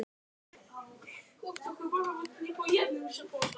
Kallið er komið